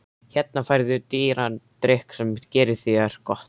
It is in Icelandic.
Hérna færðu dýran drykk sem gerir þér gott.